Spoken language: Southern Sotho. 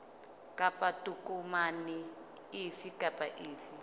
kapa tokomane efe kapa efe